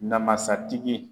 Namasatigi